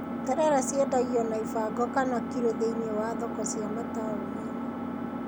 Terere ciendagio na ibango kana kiro thĩiniĩ wa thoko cia mataũni-inĩ.